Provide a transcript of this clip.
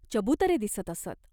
चबुतरे दिसत असत.